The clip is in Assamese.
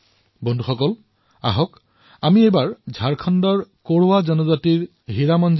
বন্ধুসকল আহক এতিয়া কথা পাতো ঝাৰখণ্ডৰ কোৰৱা জনজাতিৰ হীৰামনজীৰ